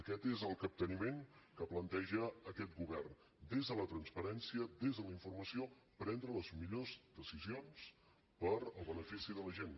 aquest és el capteniment que planteja aquest govern des de la transparència des de la informació prendre les millors decisions per al benefici de la gent